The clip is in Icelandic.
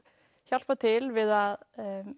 hjálpa til við að